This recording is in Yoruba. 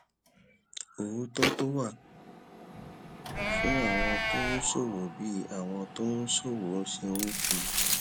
òótó tó wà fún àwọn tó ń ṣòwò bí àwọn tó ń ṣòwò ṣe ń fi